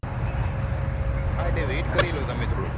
હા એટલે wait કરી લો તમે થોડું